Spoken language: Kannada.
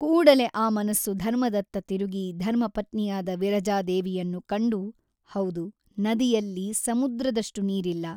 ಕೂಡಲೇ ಆ ಮನಸ್ಸು ಧರ್ಮದತ್ತ ತಿರುಗಿ ಧರ್ಮಪತ್ನಿಯಾದ ವಿರಜಾದೇವಿಯನ್ನು ಕಂಡು ಹೌದು ನದಿಯಲ್ಲಿ ಸಮುದ್ರದಷ್ಟು ನೀರಿಲ್ಲ.